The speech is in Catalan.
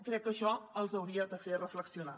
crec que això els hauria de fer reflexionar